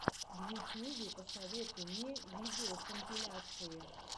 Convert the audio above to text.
в ютьюбе посоветуй мне видеокомпиляции